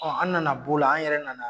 an nana b'o la an yɛrɛ nana